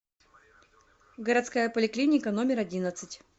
городская поликлиника номер одиннадцать